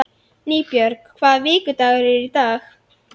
Nýbjörg, hvaða vikudagur er í dag?